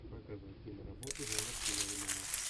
показывай киноработу жанр киноальманах